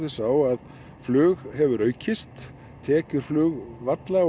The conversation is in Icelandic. sá að flug hefur aukist tekjur flugvalla og